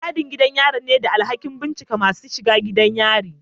Masu gadin gidan yari ne da alhakin binciken masu shiga gidan yari